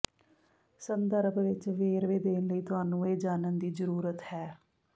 ਸੰਦਰਭ ਵਿੱਚ ਵੇਰਵੇ ਦੇਣ ਲਈ ਤੁਹਾਨੂੰ ਇਹ ਜਾਣਨ ਦੀ ਜ਼ਰੂਰਤ ਹੈ